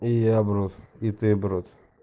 и я брут и ты брут